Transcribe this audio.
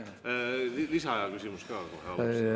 Lisaaja küsimus ka kohe alguses.